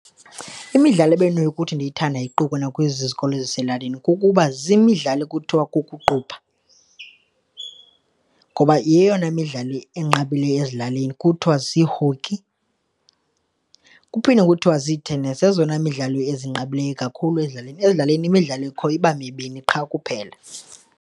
Imidlalo ebendinokuthi ndiyithande iquka nakwiizikolo eziselalini kukuba zimidlalo kuthiwa kukuqubha ngoba yeyona midlalo inqabileyo ezilalini kuthwa zii-hockey, kuphinde kuthiwa zii-tennis, zezona midlalo ezinqabileyo kakhulu ezilalini. Ezilalini imidlalo ekhoyo iba mibini qha kuphela.